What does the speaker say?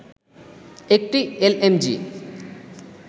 একটি এলএমজি